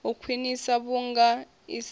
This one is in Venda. u khwiniswa vhunga i sa